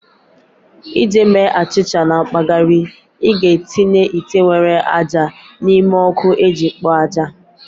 Iji mee achịcha na mpaghara, ị ga-etinye ite nwere ájá n'ime ọkụ iji kpoo ájá